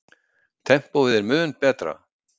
Tempóið er mun betra.